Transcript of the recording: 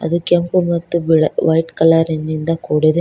ಅದು ಕೆಂಪು ಮತ್ತು ಬೀಳ ವೈಟ್ ಕಲರ್ ನಿಂದ ಕೂಡಿದೆ.